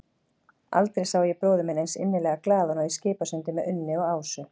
Aldrei sá ég bróður minn eins innilega glaðan og í Skipasundi með Unni og Ásu.